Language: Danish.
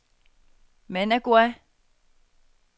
Managua